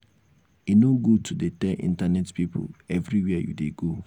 e no good to dey tell internet pipu everywhere you dey go.